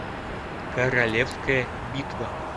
королевская битва